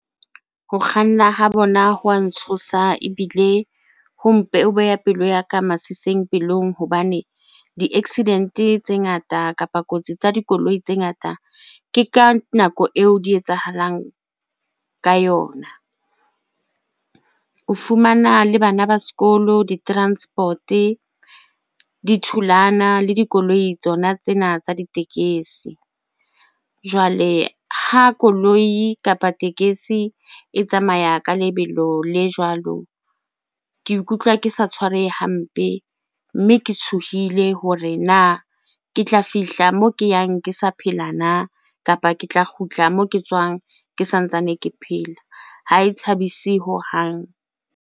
Ho kganna ha bona ho wa ntshosa ebile ho ho beha pelo ya ka masising pelong hobane di-accident-e tse ngata kapa kotsi tsa dikoloi tse ngata, ke ka nako eo di etsahalang ka yona. O fumana le bana ba sekolo, di-transport-e di thulana le dikoloi tsona tsena tsa ditekesi. Jwale ha koloi kapa tekesi e tsamaya ka lebelo le jwalo, ke ikutlwa ke sa tshwarehe hampe, mme ke tshohile hore na ke tla fihla moo ke yang ke sa phela na? Kapa ke tla kgutla moo ke tswang ke sa ntsane ke phela. Ha e thabise hohang.